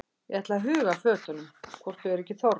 Ég ætla að huga að fötunum hvort þau eru ekki þornuð.